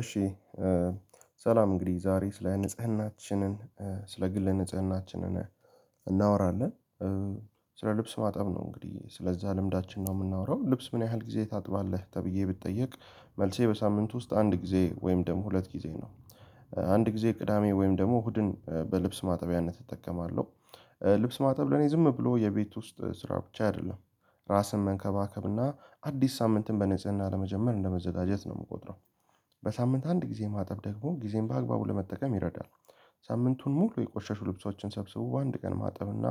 እሺ ሰላም እንግዲህ ዛሬ ስለ ንጽህናችንን ስለ ግል ንጽህናችንን እናወራለን። ስለ ልብስ ማጠብ ነው እንግዲህ ስለዛ ልምዳችን ነው የምናወራው። ልብስ ምን ያህል ጊዜ ታጥባለህ? ተብዬ ብትጠየቅ መልሴ በሳምንት ውስጥ አንድ ጊዜ ወይም ደግሞ ሁለት ጊዜ ነው። አንድ ጊዜ ቅዳሜ ወይም ደግሞ እሁድን በልብስ ማጠቢያነት እጠቀማለሁ። ልብስ ማጠብ ለኔ ዝም ብሎ የቤት ውስጥ ስራ ብቻ አይደለም። ራስን መንከባከብና አዲስ ሳምንትን በንጽህና ለመጀመር እንደመዘጋጀት ነው የምቆጥረው። በሳምንት አንድ ጊዜ ማጠብ ደግሞ ጊዜን በአግባቡ ለመጠቀም ይረዳል። ሳምንቱን ሙሉ የቆሻሻ ልብሶችን ሰብስቦ በአንድ ቀን ማጠብ እና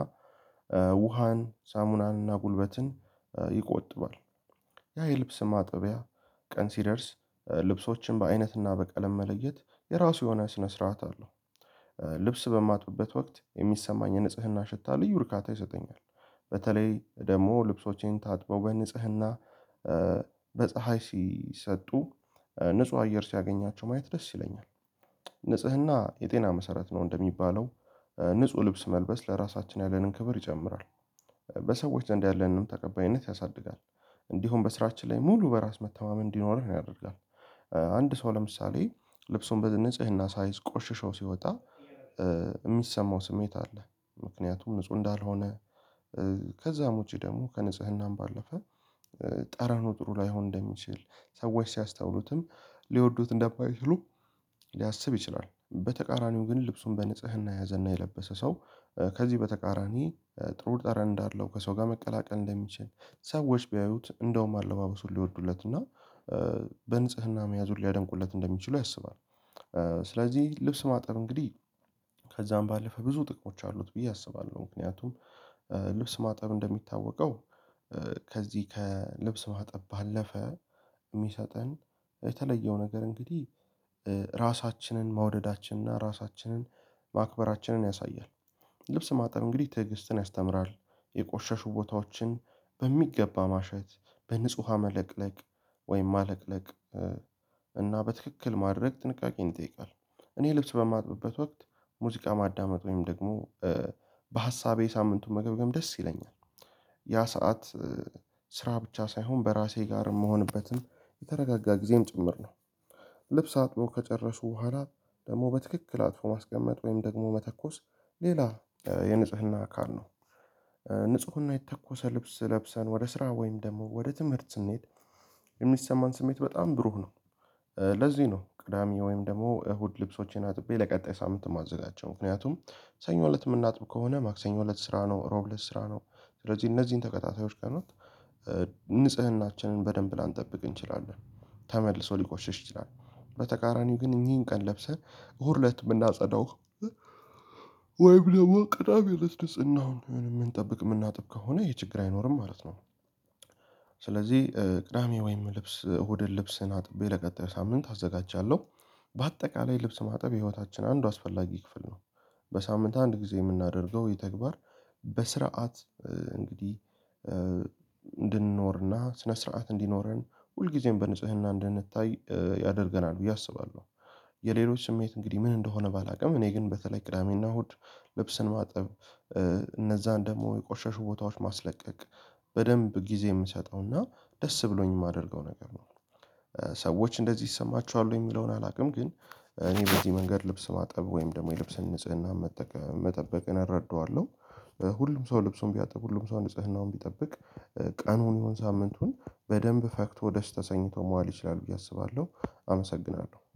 ውሃን ሳሙናንና ጉልበትን ይቆጥባል። ያ የልብስ ማጠቢያ ቀን ሲደርስ ልብሶችን በአይነትና በቀለም መለየት የራሱ የሆነ ስነ ስርዓት አለው። ልብስ በማጥበት ወቅት የሚሰማኝ ንጽህና ሽታ ልዩ ርካታ ይሰጠኛል። በተለይ ደግሞ ልብሶቼን ታጥበው በንጽህና በፀሀይ ሲሰጡ ንጹህ አየር ሲያገኛቸው ማየት ደስ ይለኛል። ንጽህና የጤና መሰረት ነው እንደሚባለው ንጹህ ልብስ መልበስ ለራሳችን ያለንን ክብር ይጨምራል። በሰዎች ዘንድ ያለንን ተቀባይነት ያሳድጋል። እንዲሁም በስራችን ላይ ሙሉ በራስ መተማመን እንዲኖርህ ነው ያደርጋል። አንድ ሰው ለምሳሌ ልብሱን በንጽህና ሳይዝ ቆሽሽው ሲወጣ የሚሰማው ስሜት አለ። ምክንያቱም ንጹህ እንዳልሆነ ከዛም ውጪ ደግሞ ከንጽህናም ባለፈ ጠረኑ ጥሩ ላይሆን እንደሚችል ሰዎች ሲያስተውሉትም ሊወዱት እንደማይችሉ ሊያስብ ይችላል። በተቃራኒው ግን ልብሱን በንጽህና የያዘና የለበሰ ሰው ከዚህ በተቃራኒ ጥሩ ጠረን እንዳለው ከሰው ጋር መቀላቀል እንደሚችል ሰዎች ቢያዩት እንደውም አለባበሱን ሊወዱለት እና በንጽህና መያዙን ሊያደንቁለት እንደሚችሉ ያስባል። ስለዚህ ልብስ ማጠብ እንግዲህ ከዛም ባለፈ ብዙ ጥቅሞች አሉት ብዬ አስባለሁ። ምክንያቱም ማጠብ እንደሚታወቀው ከዚህ ከልብስ ማጠብ ባለፈ የሚሰጠን የተለየው ነገር እንግዲህ ራሳችንን መውደዳችንና ራሳችንን ማክበራችንን ያሳያል። ልብስ ማጠብ እንግዲህ ትዕግስትን ያስተምራል የቆሸሹ ቦታዎችን በሚገባ ማሸት በንጹህ ዉሃ መለቅለቅ ወይም ማለቅለቅ እና በትክክል ማድረግ ጥንቃቄን ይጠይቃል። እኔ ልብስ በማጥብበት ወቅት ሙዚቃ ማዳመጥ ወይም ደግሞ በሀሳቤ ሳምንቱን መገምገም ደስ ይለኛል። ያ ሰዓት ስራ ብቻ ሳይሆን በራሴ ጋር የምሆንበትም የተረጋጋ ጊዜም ጭምር ነው። ልብስ አጥቦ ከጨረሱ በኋላ ደግሞ በትክክል አጥፎ ማስቀመጥ ወይም ደግሞ መተኮስ ሌላ የንጽህና አካል ነው። ንጽህና የተኮሰ ልብስ ለብሰን ወደ ስራ ወይም ደግሞ ወደ ትምህርት ስንሄድ የሚሰማን ስሜት በጣም ብሩህ ነው። ለዚህ ነው ቅዳሜ ወይም ደግሞ እሁድ ልብሶቼን አጥቤ ለቀጣይ ሳምንት የማዘጋጀው ምክንያቱም ሰኞ እለት የምናጥብ ከሆነ ማክሰኞ እለት ስራ ነው ሮብ ለስራ ነው። ስለዚህ እነዚህን ተታታዮች ቀናት ንጽህናችንን በደንብ ላንጠብቅ እንችላለን ተመልሶ ሊቆሽሽ ይችላል በተቃራኒው ግን እኚህን ቀን ለብሰን እሁድ እለት የምናጸዳው ወይ ብለው ቅዳሜ ልስልስና አሁን የምንጠብቅ የምናጥብ ከሆነ ይሄ ችግር አይኖርም ማለት ነው። ስለዚህ ቅዳሜ ወይም ልብስ እሁድን ልብስን አጥቤ ለቀጣይ ሳምንት አዘጋጃለሁ። በአጠቃላይ ልብስ ማጠብ የህይወታችን አንዱ አስፈላጊ ክፍል ነው። በሳምንት አንድ ጊዜ የምናደርገው የተግባር በስርዓት እንድንኖርና ስነ ስርዓት እንዲኖረን ሁልጊዜም በንጽህና እንድንታይ ያደርገናል ብዬ አስባለሁ። የሌሎች ስሜት እንግዲህ ምን እንደሆነ ባላውቅም እኔ ግን በተለይ ቅዳሜና እሁድ ልብስን ማጠብ እነዛን ደግሞ የቆሸሽው ቦታዎች ማስለቀቅ በደንብ ጊዜ የምሰጠው እና ደስ ብሎኝ የማደርገው ነገር ነው። ሰዎች እንደዚህ ይሰማችኋል የሚለውን አላውቅም። ግን እኔ በዚህ መንገድ ልብስ ማጠብ ወይም ደግሞ የልብስን ንጽህና መጠበቅን አረዳዋለሁ። ሁሉም ሰው ልብሱን ቢያጠብ ሁሉም ሰው ንጽህናውን ቢጠብቅ ቀኑን ይሁን ሳምንቱን በደንብ ፈክቶ ደስ ተሰኝቶ መዋል ይችላል ብዬ አስባለሁ። አመሰግናለሁ